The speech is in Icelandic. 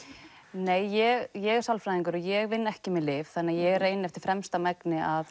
nei ég ég er sálfræðingur og ég vinn ekki með lyf ég reyni eftir fremsta megni að